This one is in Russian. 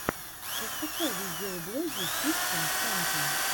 пошукай видеоблоги фифтин сента